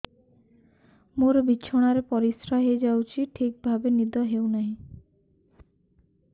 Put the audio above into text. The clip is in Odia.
ମୋର ବିଛଣାରେ ପରିସ୍ରା ହେଇଯାଉଛି ଠିକ ଭାବେ ନିଦ ହଉ ନାହିଁ